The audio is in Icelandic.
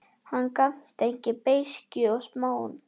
Hann var gagntekinn beiskju og smán.